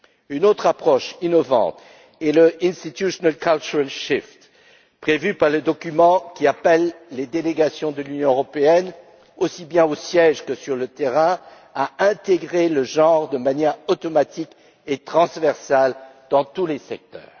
Une autre approche innovante est le Institutional cultural shift prévu par le document qui appelle les délégations de l'Union européenne, aussi bien au siège que sur le terrain, à intégrer le genre de manière automatique et transversale dans tous les secteurs.